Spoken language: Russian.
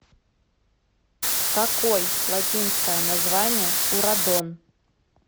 какой латинское название у радон